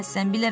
Bilməzsən.